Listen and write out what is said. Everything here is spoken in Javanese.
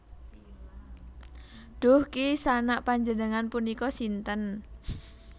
Duh Ki Sanak panjenengan punika sinten